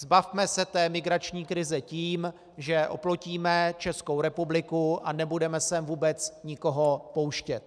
Zbavme se té migrační krize tím, že oplotíme Českou republiku a nebudeme sem vůbec nikoho pouštět.